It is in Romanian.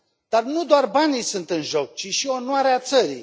Dar nu doar banii sunt în joc, ci și onoarea țării.